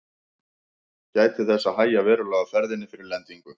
Gætið þess að hægja verulega á ferðinni fyrir lendingu.